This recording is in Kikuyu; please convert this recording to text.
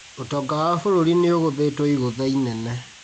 ũtonga wa bũrũri nĩũgũthĩtwo igũtha inene